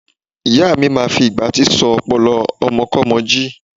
Ìyáa mi máa fi ìgbátí sọ ọpọlọ ọmọkọ́mọ jí.